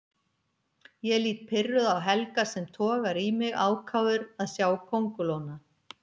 Ég lít pirruð á Helga sem togar í mig, ákafur að sjá kóngulóna.